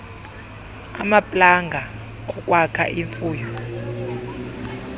amaplanga okwakha imfuyo